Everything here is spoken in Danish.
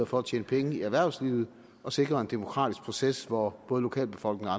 for at tjene penge i erhvervslivet og sikrer en demokratisk proces hvor både lokalbefolkningen